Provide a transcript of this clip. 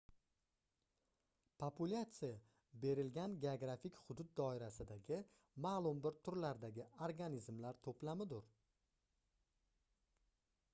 populyatsiya berilgan geografik hudud doirasidagi maʼlum bir turlardagi organizmlar toʻplamidir